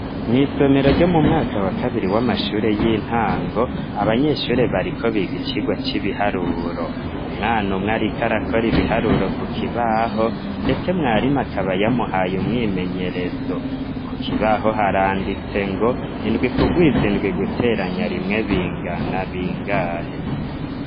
Mwisomero ryo mu mwaka wa kabiri w'amashuri y'intango, abanyeshuri bariko biga ikigwa c'ibiharuro, umwana umwe ariko arakora ibiharuro ku kibaho ndetse umwarimu akaba yamuhaye umwimenyerezo ku kibaho haranditse ngo indwi kugwiza indwi guteranya rimwe bingana bingahe.